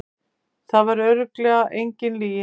Það var örugglega engin lygi.